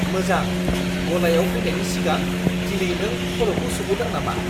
मोजां! गलायाव फैनायनि सिगां दिनै नों खर'खौ सुबोदों नामा?